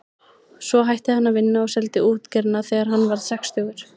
Svo hætti hann að vinna og seldi útgerðina þegar hann varð sextugur.